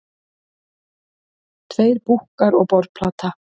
Tveir búkkar og borðplata.